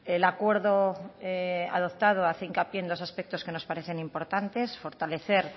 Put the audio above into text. el acuerdo adoptado hace hincapié en dos aspectos que nos parecen importantes fortalecer